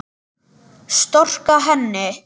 Storka henni.